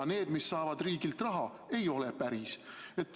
Aga need, mis saavad riigilt raha, ei ole päris.